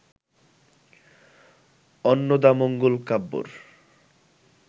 অন্নদামঙ্গল কাব্যের